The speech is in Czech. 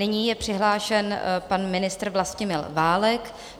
Nyní je přihlášen pan ministr Vlastimil Válek.